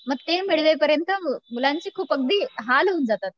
मग ते मिळे पर्यंत मुलांचे खूप अगदी हाल होऊन जातात